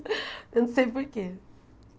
Eu não sei por quê.